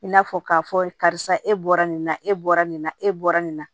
I n'a fɔ k'a fɔ karisa e bɔra nin na e bɔra nin na e bɔra nin na